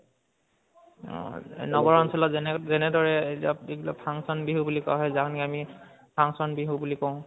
অহ নগৰ অঞ্চলত যেনেদৰে function বিহু বুলি কয় যাক আমি আমি function বিহু বুলি কওঁ